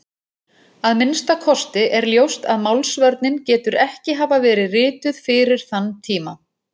Að minnsta kosti er ljóst að Málsvörnin getur ekki hafa verið rituð fyrir þann tíma.